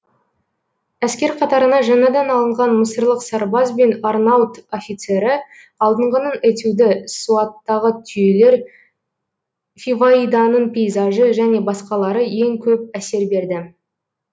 әскер қатарына жаңадан алынған мысырлық сарбаз бен арнаут офицері алдыңғының этюды суаттағы түйелер фиваиданың пейзажы және басқалары ең көп әсер берді